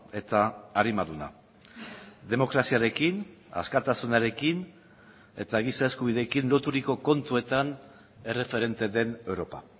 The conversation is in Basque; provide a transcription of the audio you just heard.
eta arimaduna demokraziarekin askatasunarekin eta giza eskubideekin loturiko kontuetan erreferente den europa